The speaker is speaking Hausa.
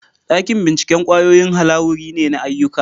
Dakin bincike kwayoyi halawuri ne na ayyuka.